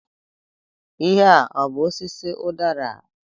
Ihe a ọ bú osisi udara?